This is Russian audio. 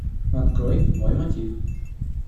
открой мой мотив